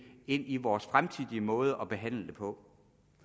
ind i vores fremtidige måde at behandle det på